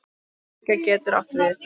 Fylgja getur átt við